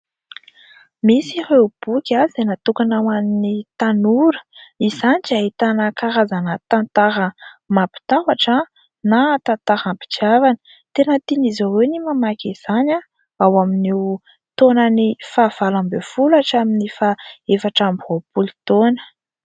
Misy ieo boky izay natokana ho an'ny tanora. Izany dia ahitana tantara mampitahotra na tantaram-pitiavana. Tena tian'izy ireo ny mamaky izany ao amin'io taonan'ny faha valo ambin'ny folo hatramin'ny faha efatra amby roapolo taona.